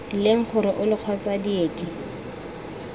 leng gore ole kgotsa diedi